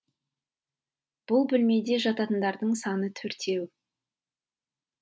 бұл бөлмеде жататындардың саны төртеу